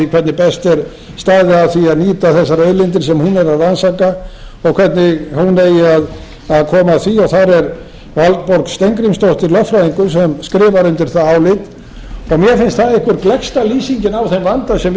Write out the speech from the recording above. hvernig best er staðið að því að nýta þessar auðlindir sem hún er að rannsaka og hvernig hún eigi að koma því þar er valborg steingrímsdóttir lögfræðingur sem skrifar undir það álit og mér finnst það eitthvað gleggsta lýsingin á þeim vanda sem